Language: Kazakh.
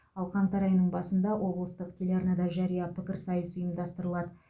ал қаңтар айының басында облыстық телеарнада жария пікірсайыс ұйымдастырылады